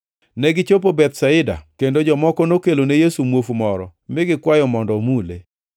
Negichopo Bethsaida, kendo jomoko nokelo ne Yesu muofu moro mi gikwayo mondo omule.